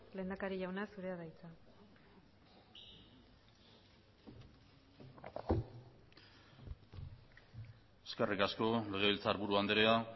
lehendakari jauna zurea da hitza eskerrik asko legebiltzarburu andrea